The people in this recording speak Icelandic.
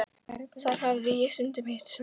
Þar hafði ég stundum hitt Sölva.